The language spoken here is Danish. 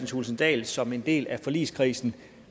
thulesen dahl som en del af forligskredsen